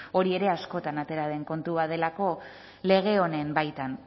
hori ere askotan atera den kontu bat delako lege honen baitan